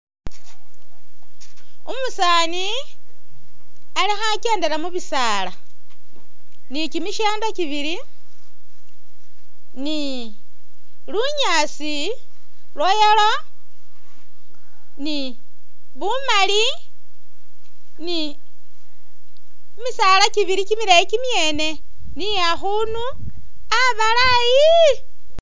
Umusaani alikho akyendela mubisaala ni kyimishendo kyibili ni lunyaasi lwa yellow ni bumali ni kyimisaala kyibili kyimileyi kyimyene ni akhundu abalaayi.